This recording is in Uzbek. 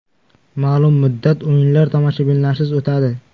Ma’lum muddat o‘yinlar tomoshabinlarsiz o‘tadi.